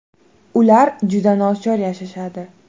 Ular juda nochor yashashadi.